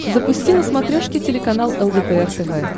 запусти на смотрешке телеканал лдпр тв